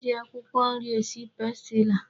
E ji akwụkwọ nri esi pastila.